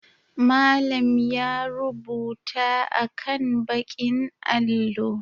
Malam ya rubuta akan ɓakin allo.